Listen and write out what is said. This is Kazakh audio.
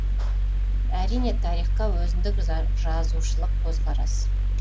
әрине тарихқа өзіндік жазушылық көзқарас